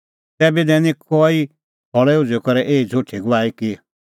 तैबै दैनी कई खल़ै उझ़ुई करै एही झ़ुठी गवाही कि